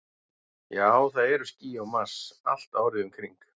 Já, það eru ský á Mars, allt árið um kring.